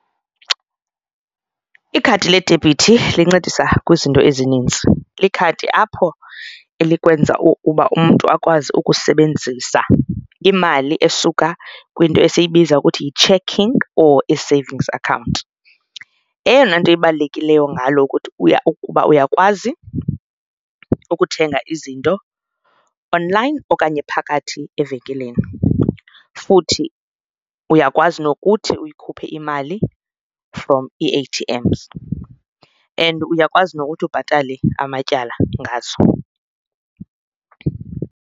Ikhadi ledebhithi lincedisa kwizinto ezininzi, likhadi apho elikwenza uba umntu akwazi ukusebenzisa imali esuka kwinto esiyibiza ukuthi yi-checking or ii-savings account. Eyona nto ibalulekileyo ngalo ukuba uyakwazi ukuthenga izinto online okanye phakathi evenkileni futhi uyakwazi nokuthi uyikhuphe imali from ii-A_T_Ms and uyakwazi nokuthi ubhatale amatyala ngazo.